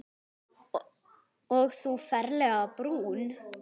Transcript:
Og þú ferlega brún.